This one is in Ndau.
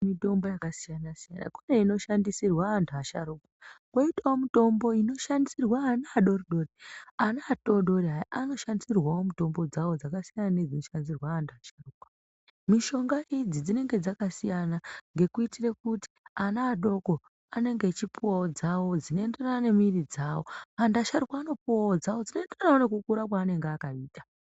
Mitombo yakasiyana siyana kune inoshandisirwa antu asharuka koitawo mitombo inoshandisirwa ana adoridori , ana adodori aya anoshandisirwawo mitombo dzawo dzakasiyana nedzinoshandisirwa antu asharukwa. Mishonga idzi dzinenge dzakasiyana nekuitira kuti ana adoko anenge achipuwawo dzawo dzinoenderana nemiri dzawo antu asharuka anopuwawo dzawo dzinoenderana nekukura mwaanenge akaita.